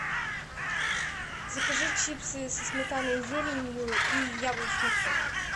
закажи чипсы со сметаной и зеленью и яблочный сок